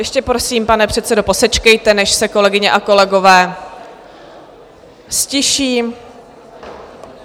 Ještě prosím, pane předsedo, posečkejte, než se kolegyně a kolegové ztiší.